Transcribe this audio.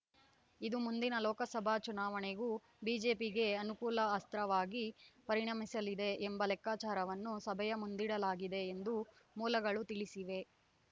ಇದು ಮುಂದಿನ ಲೋಕಸಭಾ ಚುನಾವಣೆಗೂ ಬಿಜೆಪಿಗೆ ಅನುಕೂಲ ಅಸ್ತ್ರವಾಗಿ ಪರಿಣಮಿಸಲಿದೆ ಎಂಬ ಲೆಕ್ಕಾಚಾರವನ್ನು ಸಭೆಯ ಮುಂದಿಡಲಾಗಿದೆ ಎಂದು ಮೂಲಗಳು ತಿಳಿಸಿವೆ